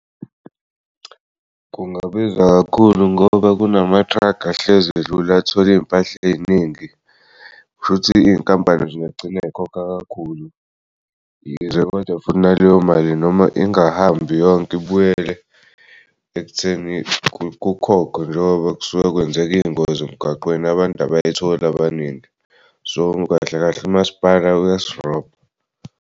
Kungabiza kakhulu ngoba kunamathrakhi ahlezi edlula ethwele iy'mpahla ey'ningi shuthi iy'nkampani nje zingagcina yikhokha kakhulu kodwa futhi yize funa naleyo mali noma ingahambi yonke ibuyele ekutheni kukhokhwe njengoba kusuke kwenzeke iy'ngozi emgaqweni abantu abayithol'abaningi so kahle kahle umasipala uyasirobha.